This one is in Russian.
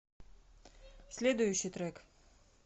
следующий трек